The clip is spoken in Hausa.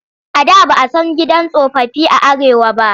A da ba a san gidan tsofaffi a Arewa ba.